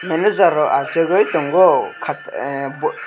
manager rwk achuk oi tongo kaa ahh boo--